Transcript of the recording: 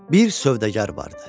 Bir sövdəgər vardı.